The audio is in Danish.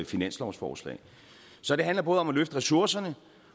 finanslovsforslag så det handler om at løfte ressourcerne